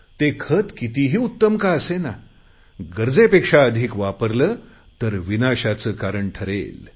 ती खते कितीही उत्तम का असेना गरजेपेक्षा अधिक वापरली तर ते विनाशाचे कारण ठरेल